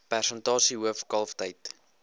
persentasie hoof kalftyd